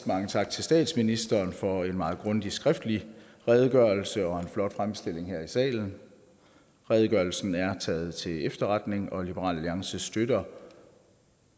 mange tak til statsministeren for en meget grundig skriftlig redegørelse og en flot fremstilling her i salen redegørelsen er taget til efterretning og liberal alliance støtter